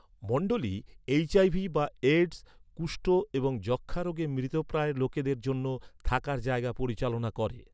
মণ্ডলী এইচ.আই.ভি বা এডস, কুষ্ঠ এবং যক্ষ্মা রোগে মৃতপ্রায় লোকেদের জন্য থাকার জায়গা পরিচালনা করে।